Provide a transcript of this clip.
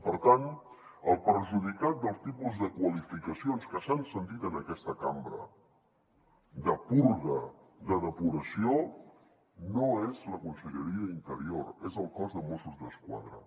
per tant el perjudicat pel tipus de qualificacions que s’han sentit en aquesta cambra de purga de depuració no és la conselleria d’interior és el cos de mossos d’esquadra